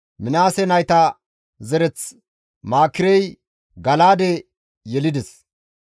Minaase nayta zereth Maakirey Gala7aade yelides;